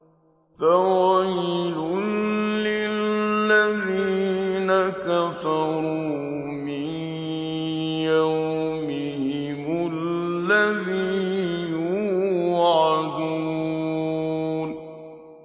فَوَيْلٌ لِّلَّذِينَ كَفَرُوا مِن يَوْمِهِمُ الَّذِي يُوعَدُونَ